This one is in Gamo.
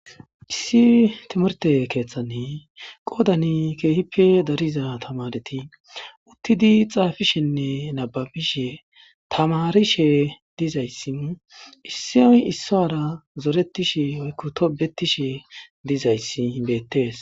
issi timarte keeththane qoodani keehippe dariza tamareti uttidi xaafishenne nababishe tamarishe dizayssi issiy issara zoretishe oykku tobetishe dizayssi bettees